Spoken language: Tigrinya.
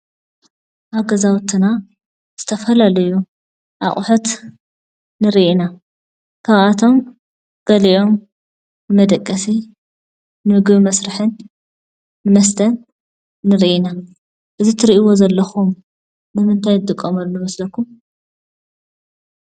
ኣብ ገዛውትና ዝተፈላለዩ ኣቑሑት ንሪኢ ኢና። ካብኣቶም ገሊኦም ንመደቀሲ ፣ ንምግቢ መስርሕን ንመስተን ንሪኢ ኢና፡፡ እዚ ትሪእዎ ዘለኹም ንምንታይ ንጥቀመሉ ይመስለኩም?